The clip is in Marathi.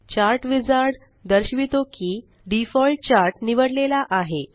चार्ट विझार्ड दर्शवितो की डिफॉल्ट चार्ट निवडलेला आहे